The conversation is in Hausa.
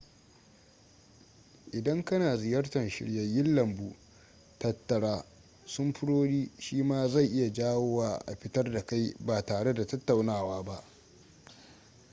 idan kana ziyartar shiryayen lambu tattara samfurori shi ma zai iya jawo wa a fitar da kai ba tare da tattaunawa ba